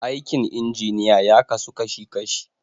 Aikin injiniya ya kasu kashi kashi.